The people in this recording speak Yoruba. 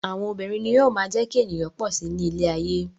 Àwọn obìnrin ni yóò máa jẹ́ kí ènìyàn pọ̀ si ní ilé ayé.